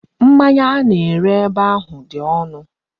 Mmanya a na-ere ebe ahu di onu.